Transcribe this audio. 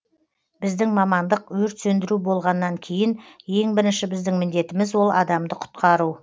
біздің мамандық өрт сөндіру болғаннан кейін ең бірінші біздің міндетіміз ол адамды құтқару